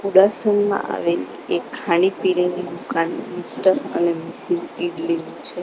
આવેલી એક ખાણી પીણીની દુકાન મિસ્ટર અને મિસિસ ઈડલી ની છે.